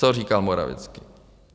Co říkal Morawiecki.